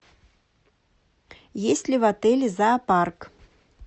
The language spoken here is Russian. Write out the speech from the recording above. есть ли в отеле зоопарк